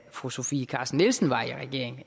fru sofie carsten nielsen var i regering